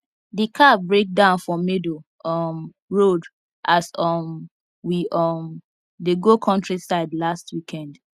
the car break down for middle um road as um we um dey go countryside last weekend